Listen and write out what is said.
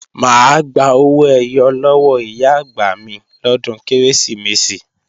Mà á gba owó ẹyọ lọ́wọ́ Ìyá-àgbà mi lọ́dún Kérésìmesì